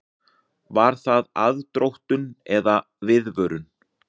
Var það aðdróttun eða viðvörun?